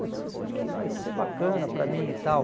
Putz, isso aqui vai ser bacana para mim e tal.